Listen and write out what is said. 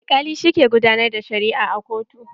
Alkali shi ke gudanar da shari'a a kotun.